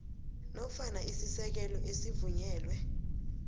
nofana isisekelo esivunyelwe